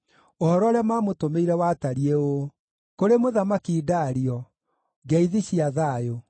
Ũhoro ũrĩa maamũtũmĩire watariĩ ũũ: Kũrĩ Mũthamaki Dario: Ngeithi cia thayũ.